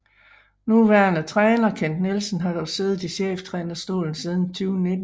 Nuværende træner Kent Nielsen har dog siddet i cheftrænerstolen siden 2019